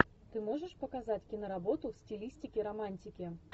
ты можешь показать киноработу в стилистике романтики